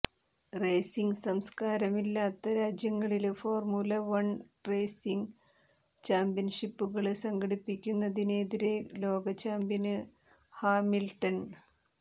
racing സംസ്കാരമില്ലാത്ത രാജ്യങ്ങളില് formula one racing ചാമ്പ്യന്ഷിപ്പുകള് സംഘടിപ്പിക്കുന്നതിനെതിരെ ലോകചാമ്പ്യന് ഹാമില്ട്ടണ്